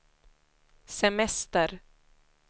semester